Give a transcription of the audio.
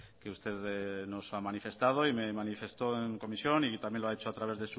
que usted nos ha manifestado y me manifestó en comisión y también lo ha hecho a través